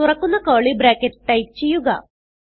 തുറക്കുന്ന curly bracket type ചെയ്യുക